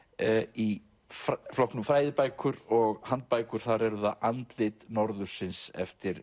í flokknum fræðibækur og handbækur þar er það andlit norðursins eftir